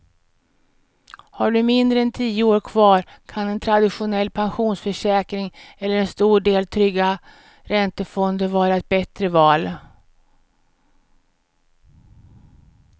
Har du mindre än tio år kvar kan en traditionell pensionsförsäkring eller en stor del trygga räntefonder vara ett bättre val.